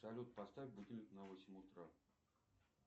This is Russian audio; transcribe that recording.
салют поставь будильник на восемь утра